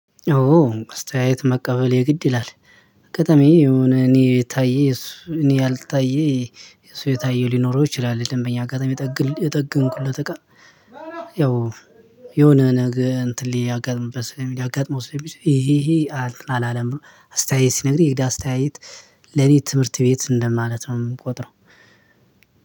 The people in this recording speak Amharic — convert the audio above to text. ኦ አስተያየት መቀበል የግድ ይላል። አጋጣሚ የሆነ እኔ የታየ እኔ ያልታየ እሱ የታየው ሊኖረው ይችላል ደንበኛ አጋጣሚ የጠገንኩለት እቃ። ያው የሆነ ነገር እንትን ሊያጋጥመው ሊያጋጥመው ስለሚችል ይሄ ይሄ። አላለም አስተያየት ሲነግርህ የደ አስተያየት ለኔ ትምህርት ቤት እንደማለት ነው። እምቆጥረው